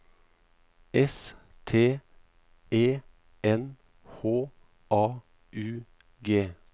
S T E N H A U G